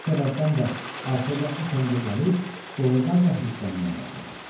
Bu səbəbdən də axırda o təngə gəlib, doğrudan da hirslənməyə başladı.